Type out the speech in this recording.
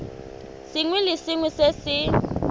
sengwe le sengwe se se